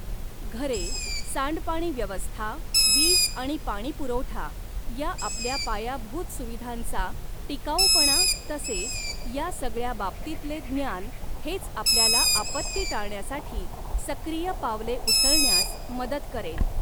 घरे, सांडपाणी व्यवस्था, वीज आणि पाणीपुरवठा या आपल्या पायाभूत सुविधांचा टिकावूपणा तसेच या सगळ्या बाबतीतले ज्ञान हेच आपल्याला आपत्ती टाळण्यासाठी सक्रिय पावले उचलण्यास मदत करेल